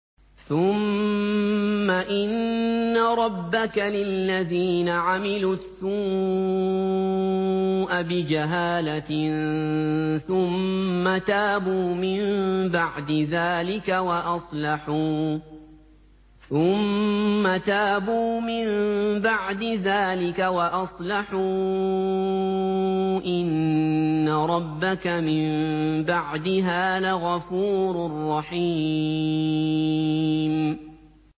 ثُمَّ إِنَّ رَبَّكَ لِلَّذِينَ عَمِلُوا السُّوءَ بِجَهَالَةٍ ثُمَّ تَابُوا مِن بَعْدِ ذَٰلِكَ وَأَصْلَحُوا إِنَّ رَبَّكَ مِن بَعْدِهَا لَغَفُورٌ رَّحِيمٌ